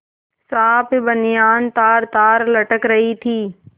साफ बनियान तारतार लटक रही थी